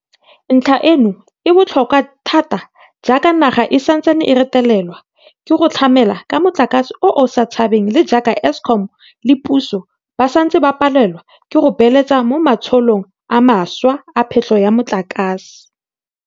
Ntlha eno e botlhokwa thata jaaka naga e santse e retelelwa ke go tlamela ka motlakase o o sa tshabeng le jaaka Eskom le puso ba santse ba palelwa ke go beeletsa mo matsholong a mašwa a phetlho ya motlakase.